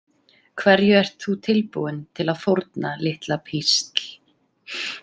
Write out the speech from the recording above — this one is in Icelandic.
Hverju ert þú tilbúin til að fórna, litla písl?